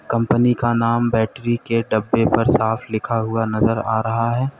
Company का नाम battery के डब्बे पर साफ लिखा हुआ नजर आ रहा है।